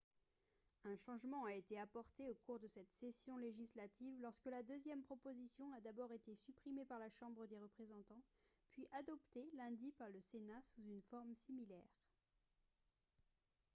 un changement a été apporté au cours de cette session législative lorsque la deuxième proposition a d'abord été supprimée par la chambre des représentants puis adoptée lundi par le sénat sous une forme similaire